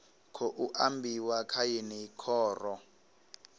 khou ambiwa kha yeneyi khoro